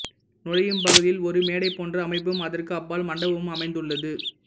நுழையும் பகுதியில் ஒரு மேடை போன்ற அமைப்பும் அதற்கு அப்பால் மண்டபமும் அமைந்துள்ளது